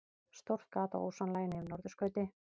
Stórt gat á ósonlaginu yfir norðurskauti